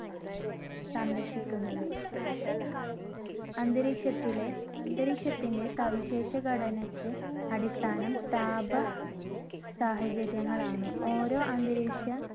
സംരക്ഷിക്കുന്നത് . അന്തരീക്ഷത്തിലെ ~അന്തരീക്ഷത്തിന്റെ സവിശേഷഘടനക്ക് അടിസ്ഥാനം താപ സാഹചര്യങ്ങളാണ്. ഓരോ അന്തരീക്ഷ